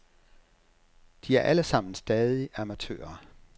De er alle sammen stadig amatører.